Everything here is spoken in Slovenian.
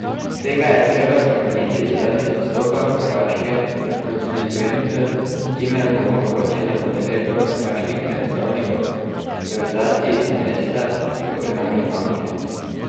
Tega je treba spremeniti zaradi vstopa Hrvaške v konstituenco, s čimer bo omogočena udeležba hrvaških predstavnikov v rotaciji za mesta v organih banke.